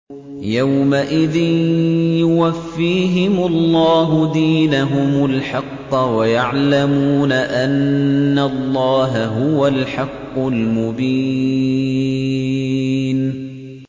يَوْمَئِذٍ يُوَفِّيهِمُ اللَّهُ دِينَهُمُ الْحَقَّ وَيَعْلَمُونَ أَنَّ اللَّهَ هُوَ الْحَقُّ الْمُبِينُ